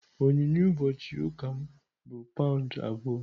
Onyinye ụbọchị ụka m bụ paụnd abụọ.